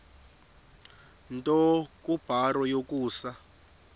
nto kubarrow yokusa